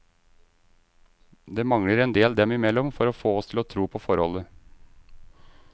Det mangler en del dem imellom for å få oss til å tro på forholdet.